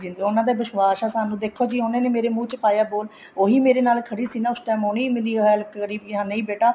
ਉਹਨਾ ਦਾ ਵਿਸ਼ਵਾਸ ਹੈ ਦੇਖੋ ਉਹਨਾ ਨੇ ਮੇਰੇ ਮੁੰਹ ਚ ਪਾਇਆ ਬੋਲ ਉਹੀ ਮੇਰੇ ਨਾਲ ਖੜੀ ਸੀ ਨਾ ਉਸ time ਉਹਨੇ ਹੀ ਮੇਰੀ help ਕਰੀ ਸੀ ਕੇ ਨਹੀਂ ਬੇਟਾ